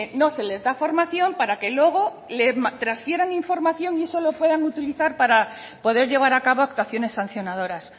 no se les da formación para que luego le transfieran información y eso lo puedan utilizar para poder llevar a cabo actuaciones sancionadoras